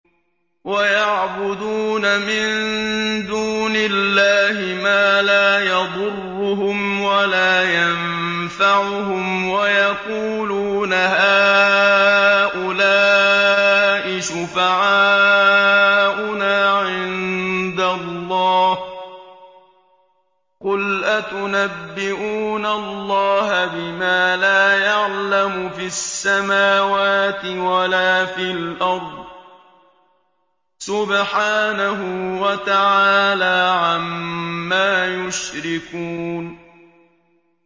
وَيَعْبُدُونَ مِن دُونِ اللَّهِ مَا لَا يَضُرُّهُمْ وَلَا يَنفَعُهُمْ وَيَقُولُونَ هَٰؤُلَاءِ شُفَعَاؤُنَا عِندَ اللَّهِ ۚ قُلْ أَتُنَبِّئُونَ اللَّهَ بِمَا لَا يَعْلَمُ فِي السَّمَاوَاتِ وَلَا فِي الْأَرْضِ ۚ سُبْحَانَهُ وَتَعَالَىٰ عَمَّا يُشْرِكُونَ